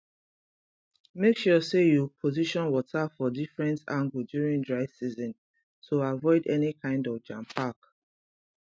make sure say you position water for different angle during dry season to avoid any kind of jampack